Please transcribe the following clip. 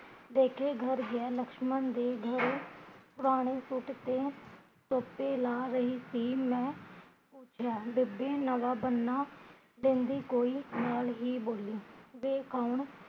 ਦੇਖੇ ਗ਼ਰ ਗਿਆ ਲਕਸ਼ਮਣ ਦੇ ਗ਼ਰ ਪੁਰਾਣੇ ਸੂਟ ਤੇ ਲਾ ਰਹੀ ਸੀ ਮੈਂ ਪੁੱਛਿਆ ਬੇਬੇ ਨਵਾਂ ਬੰਨਾ ਕਹਿੰਦੀ ਕੋਈ ਨਾਲ਼ ਹੀਂ ਬੋਲਿਆ ਵੇ ਕੋਣ